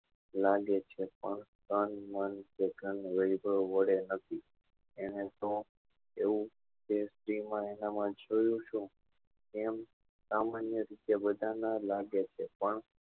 લાગે છે પણ તન મન પ્રકરણ વડે નથી એને તો એવું કે સ્ત્રી માં એવું તો જોયું શું એવું સામાન્ય રીતે બધા માં લાગે છે પણ